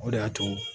O de y'a to